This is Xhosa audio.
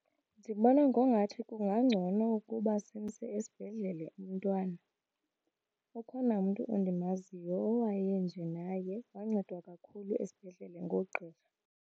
Ndibona ngongathi kungangcono ukuba simse esibhedlele umntwana. Ukhona umntu endimaziyo owayenje naye, wancedwa kakhulu esibhedlele ngoogqirha.